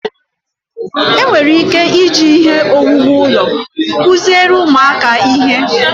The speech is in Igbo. enwere ike iji ihe owuwu ụlọ kụziere ụmụaka ihe